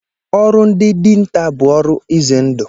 Ọrụ ndị dinta bụ ọrụ izendụ